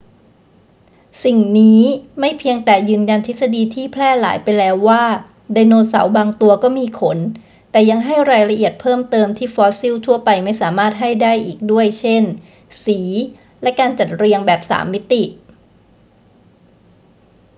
สิ่งนี้ไม่เพียงแต่ยืนยันทฤษฎีที่แพร่หลายไปแล้วว่าไดโนเสาร์บางตัวก็มีขน แต่ยังให้รายละเอียดเพิ่มเติมที่ฟอสซิลทั่วไปไม่สามารถให้ได้อีกด้วย เช่น สีและการจัดเรียงแบบสามมิติ